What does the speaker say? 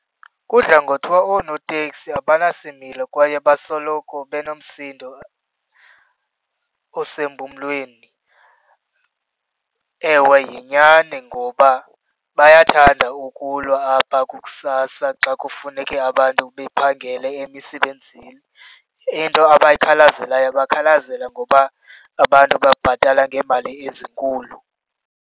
Kudla ngothiwa oonoteksi abanasimelo kwaye basoloko benomsindo osempumlweni. Ewe, yinyani ngoba bayathanda ukulwa apha kusasa xa kufuneke abantu bephangele emisebenzini. Into abayithakazelelayo, bakhalazela ngoba abantu babhatala ngeemali ezinkulu.